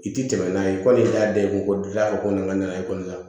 I ti tɛmɛ n'a ye kɔni n'a da i kun gilan ko na n ka nakɔ kɔnɔna la